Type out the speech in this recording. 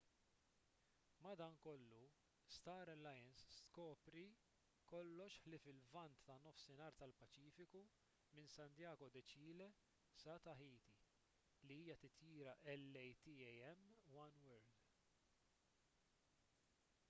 madankollu star alliance tkopri kollox ħlief il-lvant tan-nofsinhar tal-paċifiku minn santiago de chile sa tahiti li hija titjira latam oneworld